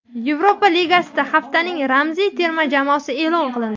Yevropa Ligasida haftaning ramziy terma jamoasi e’lon qilindi.